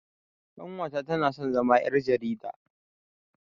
Ƙanwata tana so ta zama ƴar jarida